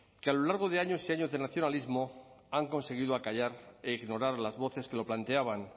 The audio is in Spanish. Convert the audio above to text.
que a lo largo de años y años de nacionalismo han conseguido acallar e ignorar las voces que lo planteaban